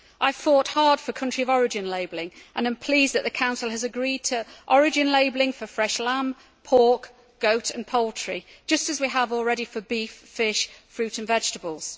I fought hard for country of origin labelling and am pleased that the Council has agreed to origin labelling for fresh lamb, pork, goat and poultry, just as we have already for beef, fish, fruit and vegetables.